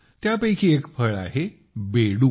त्यापैकी एक फळ आहे बेडू